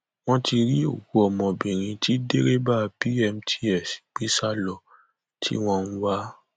wọn ti rí òkú ọmọbìnrin tí dẹrẹbà bmts gbé sá lọ tí wọn ń wá